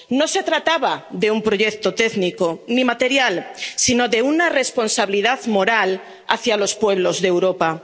No se trataba de un proyecto técnico, ni material, sino de una responsabilidad moral hacia los pueblos de Europa.